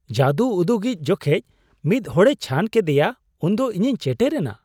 ᱡᱟᱫᱩ ᱩᱫᱩᱜᱤᱡ ᱡᱚᱠᱷᱮᱡ ᱢᱤᱫ ᱦᱚᱲᱮ ᱪᱷᱟᱱ ᱠᱮᱫᱮᱭᱟ ᱩᱱ ᱫᱚ ᱤᱧᱤᱧ ᱪᱮᱴᱮᱨ ᱮᱱᱟ ᱾